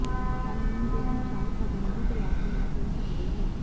ਕਾਨੂੰਨ ਦੇ ਅਨੁਸਾਰ ਪਾਬੰਦੀ ਤਲਾਕ ਨਾ ਕਰ ਸਕਦੇ ਹੋ